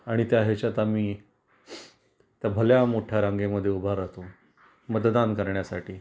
आणि त्या ह्याच्यात आम्ही तर भल्या मोठय़ा रांगे मध्ये उभा राहतो मतदान करण्यासाठी